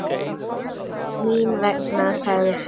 Mín vegna, sagði Finnur.